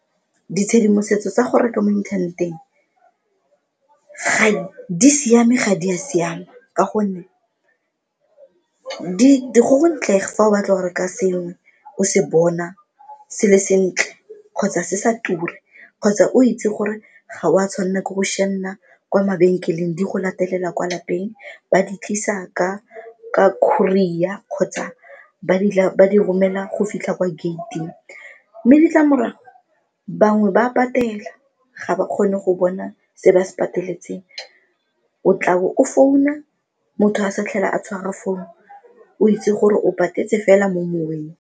Ditshedimosetso tsa go reka mo inthaneteng di siame, ga di a siama ka gonne go gontle fa o batla go reka sengwe o se bona se le sentle kgotsa se sa ture kgotsa o itse gore ga o a tshwanela ke go sianna kwa mabenkeleng di go latelela kwa lapeng, ba di tlisa ka courier kgotsa ba di romela go fitlha kwa gate-ing mme ditlamorago bangwe ba a patela ga ba kgone go bona se ba se pateletseng o tla bo o founa motho a sa tlhela a tshwara founu o itse gore o patetse fela mo moweng.